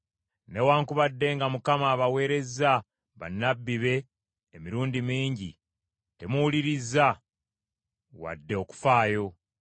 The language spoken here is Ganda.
Newaakubadde nga Mukama abaweerezza bannabbi be emirundi mingi, temuwulirizza wadde okufaayo.